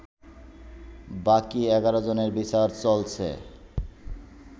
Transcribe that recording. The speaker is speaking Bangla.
বাকি ১১ জনের বিচার চলছে